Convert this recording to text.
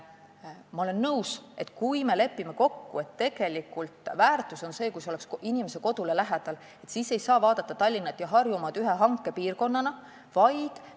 Ma olen nõus, et kui me lepime kokku, et väärtus on see, kui teenus on inimese kodu lähedal, siis ei saa Tallinna ja Harjumaad ühe hankepiirkonnana vaadata.